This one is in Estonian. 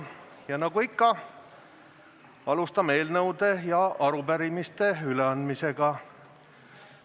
Ja nagu ikka, alustame eelnõude ja arupärimiste üleandmisega.